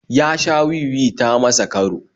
Ya sha wi-wi ta masa karo